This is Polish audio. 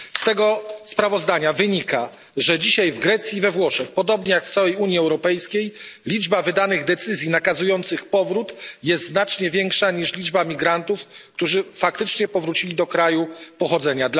Z tego sprawozdania wynika, że dzisiaj w Grecji i we Włoszech, podobnie jak w całej Unii Europejskiej, liczba wydanych decyzji nakazujących powrót jest znacznie większa niż liczba migrantów, którzy faktycznie powrócili do kraju pochodzenia.